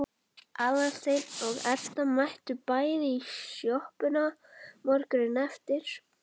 Aðalsteinn og Edda mættu bæði í sjoppuna morguninn eftir.